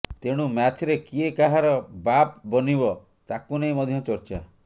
ତେଣୁ ମ୍ୟାଚ୍ରେ କିଏ କାହାର ବାପ୍ ବନିବ ତାକୁ ନେଇ ମଧ୍ୟ ଚର୍ଚ୍ଚା